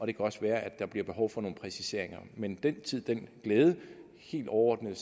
det kan også være at der bliver behov for nogle præciseringer men den tid den glæde helt overordnet